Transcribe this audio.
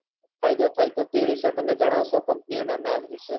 ફાયદો થાય તો તે વિષે તમે જણાવશો company ના નામે વિષે